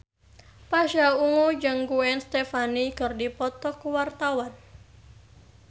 Pasha Ungu jeung Gwen Stefani keur dipoto ku wartawan